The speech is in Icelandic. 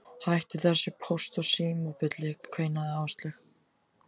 Hættu þessu Póst og Síma bulli kveinaði Áslaug.